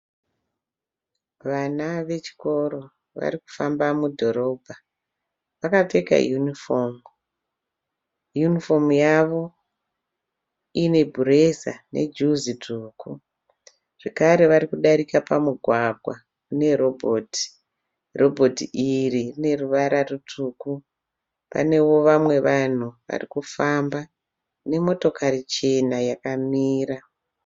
Vana vechikoro vari kufamba mudhorobha. Vakapfeka yunifomu. Yunifomu yavo ine bhureza nejuzi dzvuku zvekare vari kudarika pamugwagwa une robhoti. Robhoti iri rine ruvara rutsvuku. Panewo vamwe vanhu vari kufamba nemotokari chena yakamira.